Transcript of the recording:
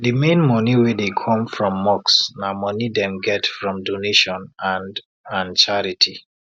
d main money wey dey come from mosque na money dem get from donation and and charity